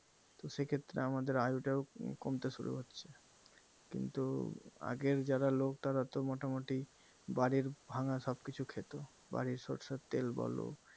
তো সে ক্ষেত্রে আমাদের আয়ু টাও কমতে শুরু হচ্ছে কিন্তু আগের যারা লোক তারাতো মোটামুটি বাড়ির ভাঙা সবকিছু খেত বাড়ির সরিষার তেল বলো